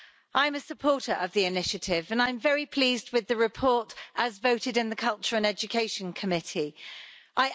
I'm a supporter of the initiative and I'm very pleased with the report as voted in the Committee on Culture and Education.